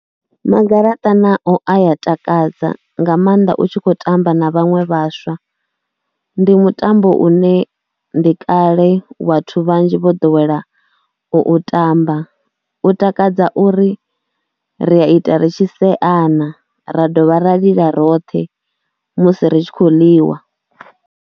Magaraṱa nao a ya takadza nga maanḓa u tshi khou tamba na vhaṅwe vhaswa. Ndi mutambo une ndi kale vhathu vhanzhi vho ḓowela u u tamba, u takadza uri ri a ita ri tshi seana ra dovha ra lila roṱhe musi ri tshi khou ḽiwa.